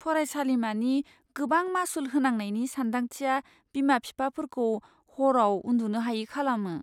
फरायसालिमानि गोबां मासुल होनांनायनि सानदांथिया बिमा बिफाफोरखौ हरआव उन्दुनो हायै खालामो।